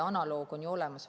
Analoog on ju olemas.